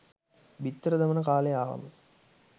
බිත්තර දමන කාලය ආවම